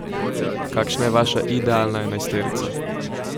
Kakšna je vaša idealna enajsterica?